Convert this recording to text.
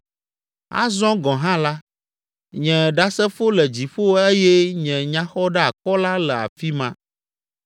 Azɔ gɔ̃ hã la, nye ɖasefo le dziƒo eye nye nyaxɔɖeakɔla le afi ma.